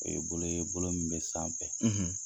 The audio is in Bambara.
O ye bolo ye min bɛ sanfɛ,